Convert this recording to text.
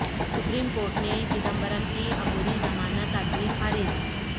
supreme court نے چدمبرم کی عبوری ضمانت عرضی خارج